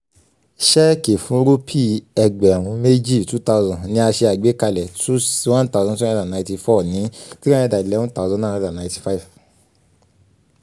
ṣẹ́ẹ̀kì fún rúpì ẹgbẹ̀rún méjì two thousand ni a ṣe àgbékalẹ̀ two sixty one thousand two hundred and ninety four ní three hundred nd eleven thusand nine hundred and ninety five